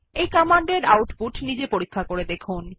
এই কমান্ড এর আউটপুট নিজে দেখুন